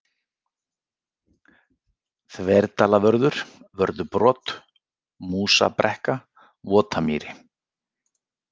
Þverdalavörður, Vörðubrot, Músabrekka, Votamýri